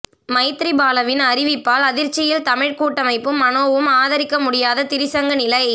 மைத்திரிபாலவின் அறிவிப்பால் அதிர்ச்சியில் தமிழ் கூட்டமைப்பும் மனோவும் ஆதரிக்க முடியாத திரிசங்கு நிலை